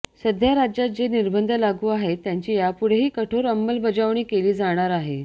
सध्या राज्यात जे निर्बंध लागू आहेत त्याची यापुढेही कठोर अंमलबजावणी केली जाणार आहे